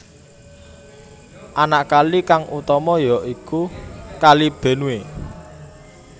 Anak kali kang utama ya iku Kali Benue